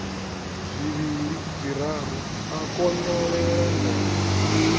zwivhili zwiraru a konyolela nḓevhe